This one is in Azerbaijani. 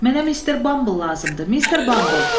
Mənə mister Bamble lazımdır, Mister Bamble.